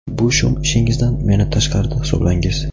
bu shum ishingizdan meni tashqarida hisoblangiz!.